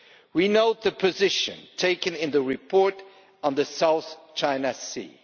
We note the position taken in the report on the South China Sea.